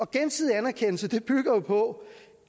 gensidig anerkendelse bygger jo på